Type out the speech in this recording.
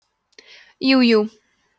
jújú